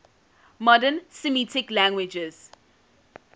modern semitic languages